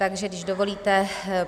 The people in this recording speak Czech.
Takže když dovolíte: